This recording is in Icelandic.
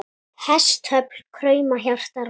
Hestöfl krauma, hjarta rótt.